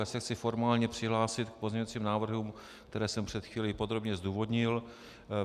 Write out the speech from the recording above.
Já se chci formálně přihlásit k pozměňovacím návrhům, které jsem před chvílí podrobně zdůvodnil.